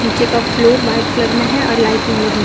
नीचे का floor white colour में है और लाइटिंग लगी--